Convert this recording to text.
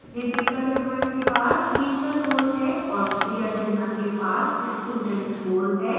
rebecca raymond के पास teacher role है और priya sinha के पास student role है